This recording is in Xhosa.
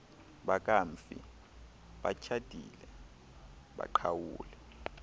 bakamfi batshatile baqhawule